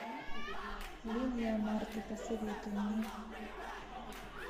линия марты посоветуй мне